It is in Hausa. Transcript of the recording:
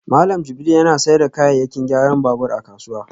Malam Jibril yana sayar da kayayyakin gyaran babur a kasuwa